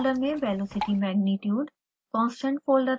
0 folder में velocity magnitude